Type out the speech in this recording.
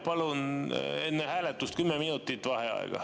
Palun enne hääletust kümme minutit vaheaega.